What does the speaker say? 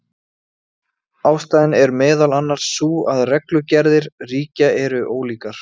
Hann vann meðal annars með hugmyndir um vélar sem gætu fjölgað sér sjálfar.